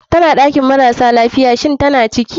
Tana ɗakin marasa lafiya, shinn tana ciki?